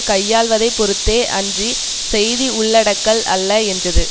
கையாள்வதைப் பொறுத்ததே அன்றி செய்தி உள்ளடக்கல் அல்ல என்றது